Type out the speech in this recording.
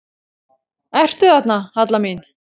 Ertu þarna, Halla mín?